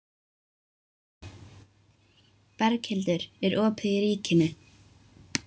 Berghildur, er opið í Ríkinu?